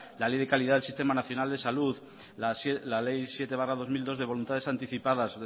la ley de calidad del sistema nacional de salud la ley siete barra dos mil dos de voluntades anticipadas